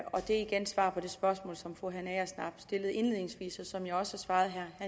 er igen svar på det spørgsmål som fru hanne agersnap stillede indledningsvis og som jeg også har svaret herre